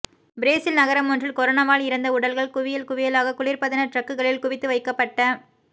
Brazil நகரமொன்றில் கொரோனாவால் இறந்த உடல்கள் குவியல் குவியலாக குளிர் பதன ட்ரக்குகளில் குவித்து வைக்கப்பட்ட